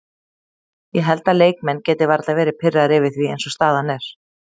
Ég held að leikmenn geti varla verði pirraðir yfir því eins og staðan er.